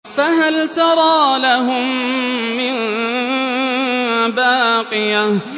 فَهَلْ تَرَىٰ لَهُم مِّن بَاقِيَةٍ